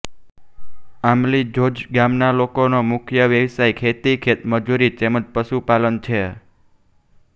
આમલી ઝોઝ ગામના લોકોનો મુખ્ય વ્યવસાય ખેતી ખેતમજૂરી તેમ જ પશુપાલન છે